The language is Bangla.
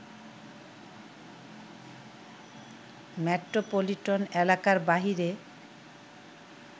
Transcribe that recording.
মেট্রোপলিটন এলাকার বাইরে